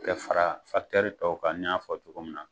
Kɛ fara tɔw kan n y'a fɔ cogo min na.